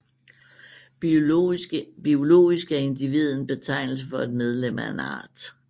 Biologisk er individet en betegnelse for et medlem af en art